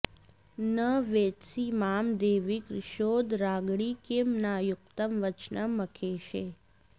न वेत्सि मां देवि कृशोदराङ्गि किं नाम युक्तं वचनं मखेशे